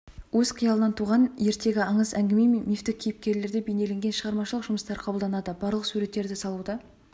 өз қиялынан туған ертегі аңыз-әңгіме мен мифтік кейіпкерлері бейнелеген шығармашылық жұмыстары қабылданады барлық суреттерді салуда